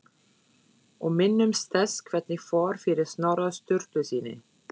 Og minnumst þess hvernig fór fyrir Snorra Sturlusyni!